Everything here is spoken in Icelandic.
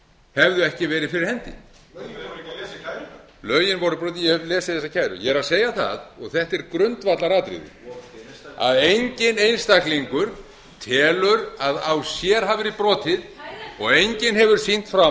hefðu ekki verið fyrir hendi lögin voru brotin hefurðu ekki lesið kærurnar lögin voru brotin ég hef lesið þessar kærur ég er að segja það og þetta er grundvallaratriði að enginn einstaklingur telur að á sér hafi verið brotið og enginn hefur sýnt fram